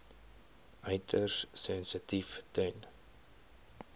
uiters sensitief ten